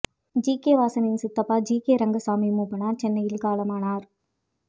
G K வாசனின் சித்தப்பா GK Rangasamy Moopanar சென்னையில் காலமானார்